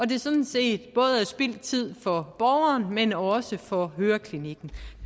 det sådan set både er spildt tid for borgeren men også for høreklinikken